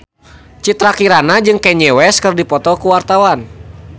Citra Kirana jeung Kanye West keur dipoto ku wartawan